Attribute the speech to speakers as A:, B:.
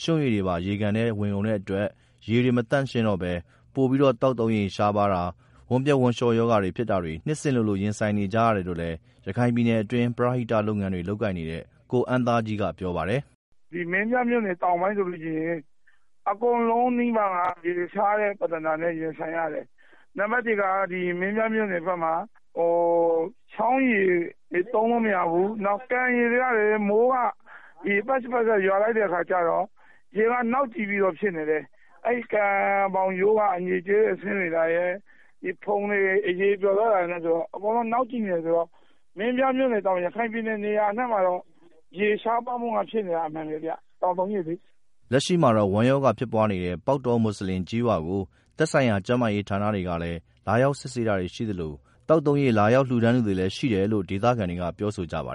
A: ရွှံ့ရေတွေပါ ရေကန်တွေထဲဝင်ကုန်တဲ့အတွက် ရေတွေမသန့်တော့ဘဲ ပိုပြီး သောက်သုံးရေ ရှားပါးတာ၊ ဝမ်းပျက် ဝမ်လျှောရောဂါဖြစ်တာတွေ နှစ်စဉ် လိုလို ရင်ဆိုင်နေကြရတယ် လို့လည်း ရခိုင်ပြည်နယ်အတွင်း ပရဟိတလုပ်ငန်းတွေ လုပ်ကိုင် နေတဲ့ ကိုအမ်းသားကြီးက ပြောပါတယ်
B: ။ “မင်းပြားမြို့နယ်တောင်ပိုင်းက ဆိုလို့ရှိရင် အကုန်လုံးနီးပါး ရေရှားတဲ့ ပြဿနာနဲ့ ရင်ဆိုင်ရ တယ်။ မင်းပြားမြို့နယ် ဖက်မှာ ချောင်းရေတွေ သုံးလို့မရဘူး။ ကန်ရေတွေကလည်း မိုးက ရွာလိုက်တဲ့ အခါကျတော့ ရေကနောက်နေတယ်။ ကန်ဘောင်းရိုးက အညစ်အကျေးတွေ ဆင်းနေတာရယ်။ ဖုန်မုန့်တွေ အရယ်ပျော်သွားတာနဲ့ ဆိုတော့ အကုန်လုံး နောက်ကျိနေ တယ်ဆိုတော့ မင်းပြားမြို့နယ်သမကာ ရခိုင်ပြည်နယ် နေရာအနှံ့မှာ ရေရှားပါးမှူတွေ ဖြစ်နေ တာကတော့ အမှန်ပဲဗျာ သောက်သုံးရေလေ။
A: ” လက်ရှိမှာတော့ ဝမ်းရောဂါ ဖြစ်ပွားနေတဲ့ ပေါက်တော မွတ်ဆလင်ကျေးရွာကို သက်ဆိုင်ရာ ကျန်းမာရေးဌာနတွေကလည်း လာရောက်စစ်ဆေးတာတွေရှိသလို သောက်သုံး ရေ လာရောက်လှူဒါန်းသူတွေလည်း ရှိနေတယ်လို့ ဒေသခံတွေက ပြောဆိုကြပါ